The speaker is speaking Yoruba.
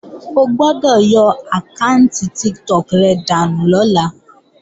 O gbọ́dọ̀ yọ àkáànti Tiktok rẹ dànù lọ́la!